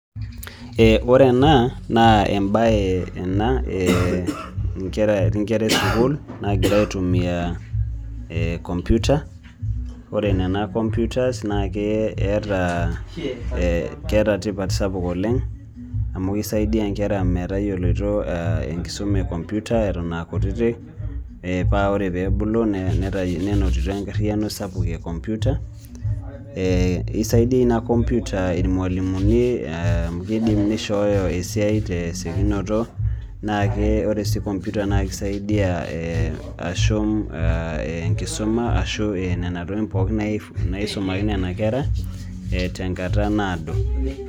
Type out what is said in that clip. ore ena naa embaye ena eti inkera ee sukul naagira aitumia computer ore nena computers naa keeta tipat sapuk oleng' amu keisaidia inkera metayioloito enkisuma ee computer eton aa kutitik paa ore peebulu nenotito enkariyiano sapuk ee computer esaidia ina computer irmualimuni amu keidim neishooyo esiai tesiokinoto naa ore sii computer naa keisaidia ashum enkisuma ashuu nena tokiting' pookin naisumaki nena kera tenkata naado.